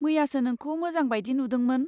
मैयासो नोंखौ मोजां बायदि नुदोंमोन।